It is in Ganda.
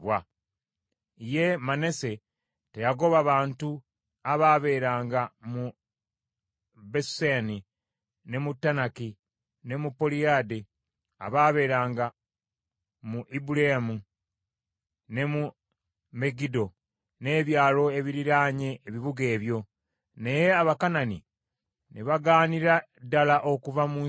Ye Manase teyagoba bantu abaabeeranga mu Besuseani, ne mu Taanaki ne mu Poliyadde abaabeeranga mu Ibuleamu, ne mu Megiddo, n’ebyalo ebiriraanye ebibuga ebyo. Naye Abakanani ne bagaanira ddala okuva mu nsi eyo.